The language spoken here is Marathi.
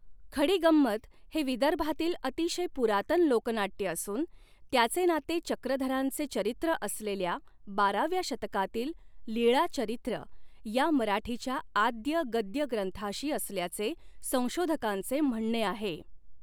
खडीगंमत हे विदर्भातील अतिशय पुरातन लोकनाट्य असून त्याचे नाते चक्रधरांचे चरित्र असलेल्या बाराव्या शतकातील लीळाचरित्र या मराठीच्या आद्य गद्य ग्रंथाशी असल्याचे संशोधकांचे म्हणणे आहे.